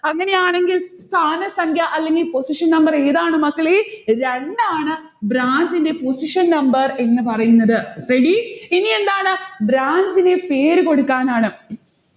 അങ്ങനെയാണെങ്കിൽ സ്ഥാനസംഖ്യ അല്ലെങ്കിൽ position number ഏതാണ് മക്കളെ. രണ്ടാണ് branch ന്റെ position number എന്ന് പറയുന്നത്. ready? ഇനിയെന്താണ്. branch ന് പേരുകൊടുക്കാനാണ്.